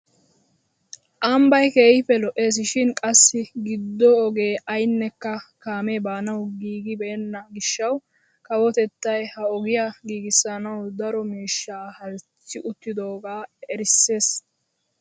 Ambbay keehippe lo"ees shin qassi giddo ogee aynnekka kaamee baanawu giigibenna gishshawu kawotettay ha ogiyaa giigissanawu daro miishshaa halchchi uttidogaa erissis!